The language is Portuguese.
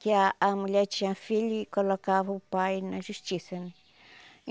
Que a a mulher tinha filho e colocava o pai na justiça, né?